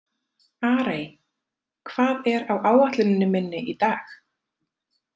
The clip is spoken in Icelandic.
Arey, hvað er á áætluninni minni í dag?